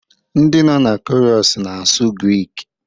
Ndị nọ na Chorus na-asụ Grik